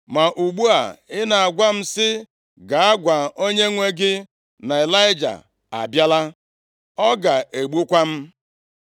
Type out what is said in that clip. Ma ugbu a i na-agwa m sị m, ‘Gaa gwa onyenwe gị na Ịlaịja abịala.’ Ọ ga-egbukwa m!”